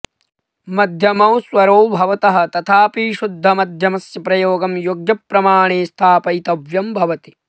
मध्यमौ स्वरौ भवतः तथापि शुद्धमध्यमस्य प्रयोगं योग्यप्रमाणे स्थापयितव्यं भवति